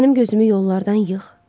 Mənim gözümü yollardan yığ.